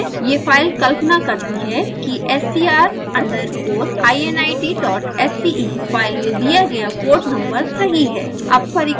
यह फाइल कल्पना करती है कि ser underscore init dot sce file में दिया गया पोर्ट नंबर सही है